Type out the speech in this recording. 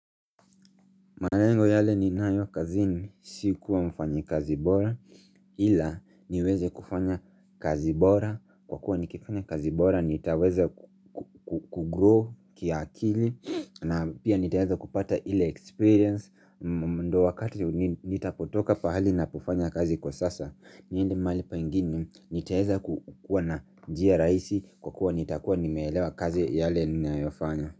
Malengo yale ninayo kazi ni si kuwa mfanya kazi bora ila niweze kufanya kazi bora kwa kuwa nikifanya kazi bora nitaweza kugrow kia akili na pia nitaweeza kupata ile experience ndo wakati nitapotoka pahali napofanya kazi kwa sasa niende mahali pengine nitaweza ku kuwaa na njia rahisi kwa kuwa nitakuwa nimeelewa kazi yale nina yofanya.